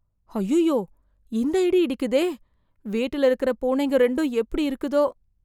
ஐயயோ! இந்த இடி இடிக்குதே! வீட்டுல இருக்கற பூனைங்க ரெண்டும் எப்படி இருக்குதோ!